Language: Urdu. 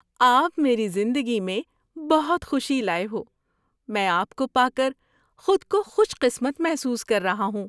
آپ میری زندگی میں بہت خوشی لائے ہو۔ میں آپ کو پا کر خود کو خوش قسمت محسوس کر رہا ہوں۔